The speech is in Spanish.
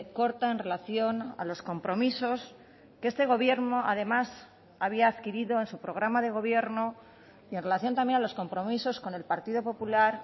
corta en relación a los compromisos que este gobierno además había adquirido en su programa de gobierno y en relación también a los compromisos con el partido popular